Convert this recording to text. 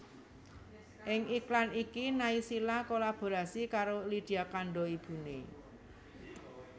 Ing iklan iki Naysila kolaborasi karo Lydia Kandou ibuné